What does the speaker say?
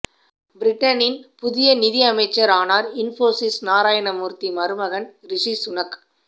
பிரிட்டனின் புதிய நிதியமைச்சரானார் இன்போசிஸ் நாராயண மூர்த்தி மருமகன் ரிஷி சுனக்